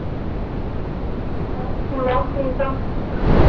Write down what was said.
ਬਸ ਬਸ ਠੀਕ ਆ।